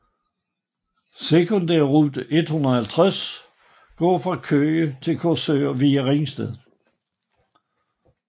Sekundærrute 150 går fra Køge til Korsør via ringsted